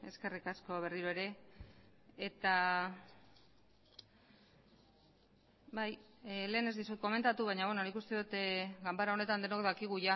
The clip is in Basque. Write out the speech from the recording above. eskerrik asko berriro ere eta bai lehen ez dizut komentatu baina beno nik uste dut ganbara honetan denok dakigu